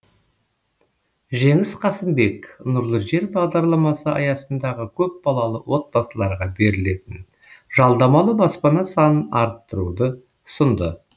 жеңіс қасымбек нұрлы жер бағдарламасы аясындағы көпбалалы отбасыларға берілетін жалдамалы баспана санын арттыруды ұсынды